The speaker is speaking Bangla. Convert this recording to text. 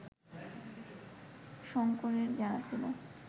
শঙ্করের জানা ছিল